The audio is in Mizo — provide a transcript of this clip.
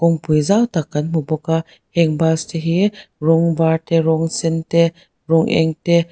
kawngpui zau tak kan hmu bawk a heng bus te hi rawng var te rawng sen te rawng eng te--